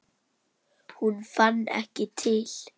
Hún fann ekki til.